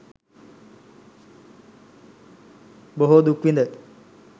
බොහෝ දුක් විඳ